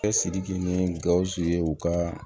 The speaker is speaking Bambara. Cɛsiri kɛ ni gawusu ye u ka